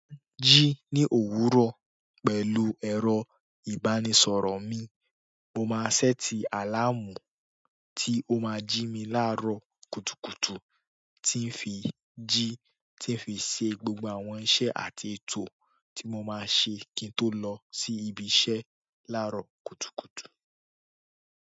Jí ní òwúrọ̀ pẹ̀lú ẹ̀rọ-ìbánisọ̀rọ̀ mi, mo máa ṣẹ́ti àláàmú tí ó máa jí mi láàárọ̀ kùtùkùtù, tí ń fi jí tí ń fi ṣe gbogbo àwọn iṣẹ́ àti ètò tí mo máa ṣe kí n tó lọ sí ibi iṣẹ́ láàárọ̀ kùtùkùtù.